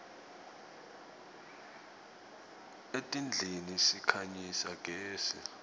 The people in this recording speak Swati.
etindlini sikhanyisa gezi